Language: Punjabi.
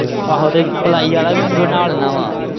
ਆਹੋ ਤੇ ਪਲਾਈ ਆਲਾ ਵੀ ਬਣਾ ਦਿੰਦਾ ਹਾਂ।